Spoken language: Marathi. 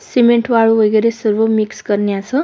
सिमेंट वाळू वगैरे सगळं मिक्स करण्याच--